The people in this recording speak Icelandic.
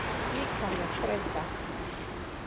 Líkamleg þreyta.